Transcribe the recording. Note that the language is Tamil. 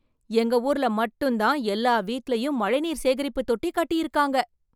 எங்க ஊர்ல மட்டும் தான் எல்லா வீட்டுலேயும் மழைநீர் சேகரிப்பு தொட்டி கட்டியிருக்காங்க!